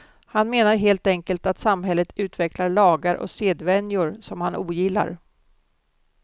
Han menar helt enkelt att samhället utvecklar lagar och sedvänjor som han ogillar.